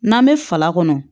N'an bɛ fala kɔnɔ